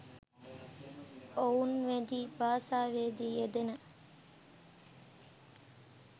ඔවුන් වැදි භාෂාවේ දී යෙදෙන